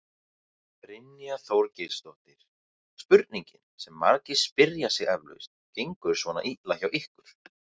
Brynja Þorgeirsdóttir: Spurningin sem margir spyrja sig eflaust, gengur svona illa hjá ykkur?